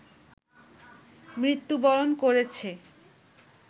মৃত্যুবরণ করেছে